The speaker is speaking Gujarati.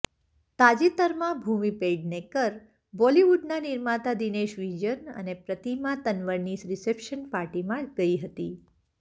તાજેતરમાં ભૂમિ પેડણેકર બોલિવુડના નિર્માતા દિનેશ વિજન અને પ્રતિમા તન્વરની રિસેપ્શન પાર્ટીમાં ગઈ હતી